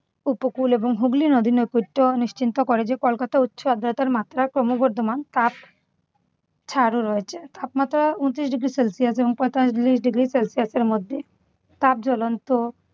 উপকূল এবং হুগলী নদীর নৈকট্য নিশ্চিন্ত করে যে কলকাতার উচ্চ আর্দ্রতার মাত্রা ক্রমবর্ধমান। তাপ ছাড়ও রয়েছে। তাপমাত্রা উনত্রিশ ডিগ্রি সেলসিয়াস এবং পঁয়তাল্লিশ ডিগ্রি সেলসিয়াসের মধ্যে। তার জ্বলন্ত